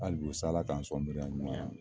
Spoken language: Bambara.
Hali bi sa Ala k'an sɔn hakili ɲuman na